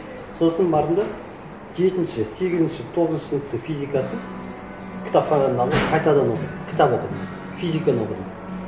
сосын бардым да жетінші сегізінші тоғызыншы сыныптың физикасын кітапханадан алып қайтадан оқыдым кітап оқыдым физиканы оқыдым